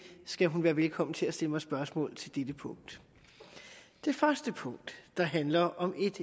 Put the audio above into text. skal hun være velkommen til at stille mig spørgsmål til dette punkt det første punkt der handler om